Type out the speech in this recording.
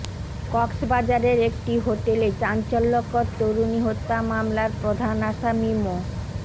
কক্সবাজারের একটি হোটেলে চাঞ্চল্যকর তরুণী হত্যা মামলার প্রধান আসামি মো